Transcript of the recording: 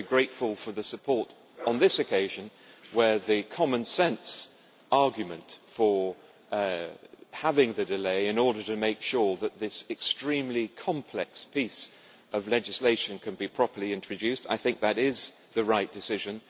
I am very grateful for the support on this occasion, and the common sense argument for having the delay in order to make sure that this extremely complex piece of legislation can be properly introduced is, I think, the right decision.